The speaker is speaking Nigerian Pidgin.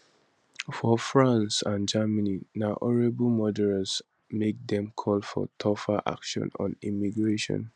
for france and germany na horrible murders make dem call for tougher action on immigration